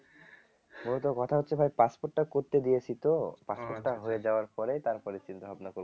মূলত কথা হচ্ছে ভাই passport টা করতে দিয়েছি তো passport টা হয়ে যাওয়ার পরে তারপরে চিন্তাভাবনা করব